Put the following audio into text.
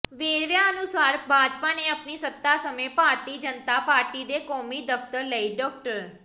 ਵੇਰਵਿਆਂ ਅਨੁਸਾਰ ਭਾਜਪਾ ਨੇ ਆਪਣੀ ਸੱਤਾ ਸਮੇਂ ਭਾਰਤੀ ਜਨਤਾ ਪਾਰਟੀ ਦੇ ਕੌਮੀ ਦਫ਼ਤਰ ਲਈ ਡਾ